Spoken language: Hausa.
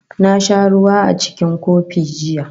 Na sha ruwa a cikin kofi jiya